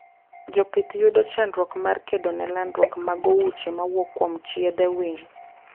Jopih yudo chandruok mar kedone landruok mag uoche mawuok kuom chiethe winy